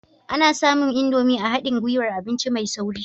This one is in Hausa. Ana samun Indomie a haɗin gwiwar abinci mai sauri